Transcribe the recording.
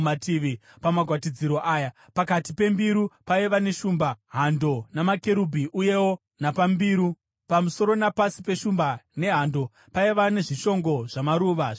Pamagwatidziro aya pakati pembiru paiva neshumba, hando namakerubhi, uyewo napambiru. Pamusoro napasi peshumba nehando paiva nezvishongo zvamaruva zvendarira.